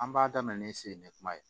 An b'a daminɛ ni sen ne kuma ye